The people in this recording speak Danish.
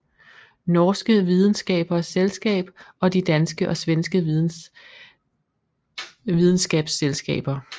Norske Videnskapers Selskab og de danske og svenske videnskabsselskaber